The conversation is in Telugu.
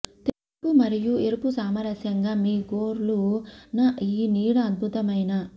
తెలుపు మరియు ఎరుపు సామరస్యంగా మీ గోర్లు న ఈ నీడ అద్భుతమైన